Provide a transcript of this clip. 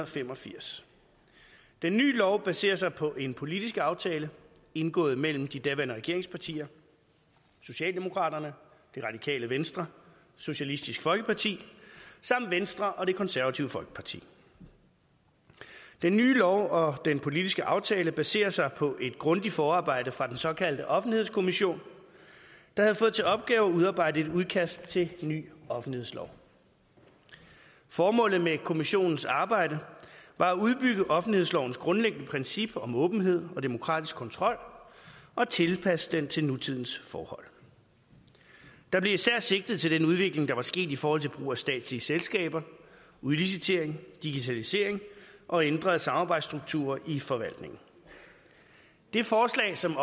fem og firs den nye lov baserer sig på en politisk aftale indgået mellem de daværende regeringspartier socialdemokraterne det radikale venstre og socialistisk folkeparti samt venstre og det konservative folkeparti den nye lov og den politiske aftale baserer sig på et grundigt forarbejde fra den såkaldte offentlighedskommission der havde fået til opgave at udarbejde et udkast til en ny offentlighedslov formålet med kommissionens arbejde var at udbygge offentlighedslovens grundlæggende princip om åbenhed og demokratisk kontrol og at tilpasse den til nutidens forhold der blev især sigtet til den udvikling der er sket i forhold til brug af statslige selskaber udlicitering digitalisering og ændrede samarbejdsstrukturer i forvaltningen det forslag som